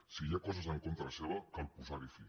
si hi ha coses en contra seu cal posar hi fi